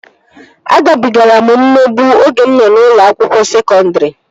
Agabigara m mmegbu oge mụ nọ n'ụlọ akwụkwọ sekọndri